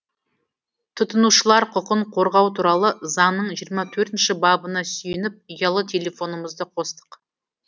тұтынушылар құқын қорғау туралы заңның жиырма төртінші бабына сүйеніп ұялы телефонымызды қостық